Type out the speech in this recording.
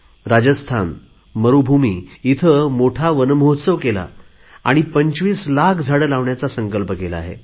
राजस्थान मरुभूमि मोठा वनमहोत्सव केला आणि पंचवीस लाख झाडे लावण्याचा संकल्प केला आहे